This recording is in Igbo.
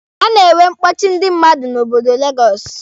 A na-enwe mkpọchị ndị mmadụ n'obodo legọsụ.